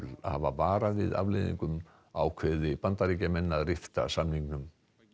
hafa varað við afleiðingunum ákveði Bandaríkjamenn að rifta samningnum